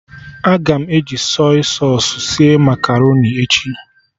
Aga m eji Sọy sausụ sie makaroni echi